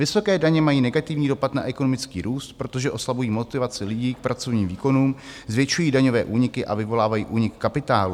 Vysoké daně mají negativní dopad na ekonomický růst, protože oslabují motivaci lidí k pracovním výkonům, zvětšují daňové úniky a vyvolávají únik kapitálu.